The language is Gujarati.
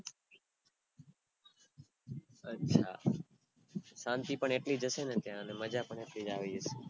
અચ્છા શાંતિ પણ એટલ્જ હયસ ને ત્યાં, અને મજા પણ એટલીજ યુવી હયસે